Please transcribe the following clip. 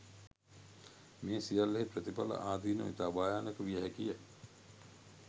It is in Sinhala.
මෙම සියල්ලෙහි ප්‍රතිඵල, ආදීනව ඉතා භයානක විය හැකිය.